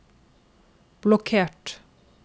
blokkert